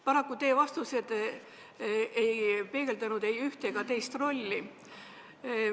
Paraku ei peegeldanud teie vastused ei ühte ega teist rolli.